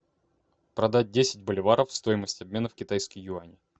продать десять боливаров стоимость обмена в китайские юани